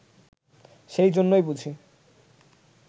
সেই জন্যই বুঝি